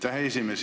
Aitäh, esimees!